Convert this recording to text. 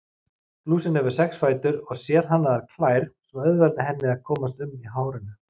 Lúsin hefur sex fætur og sérhannaðar klær sem auðvelda henni að komast um í hárinu.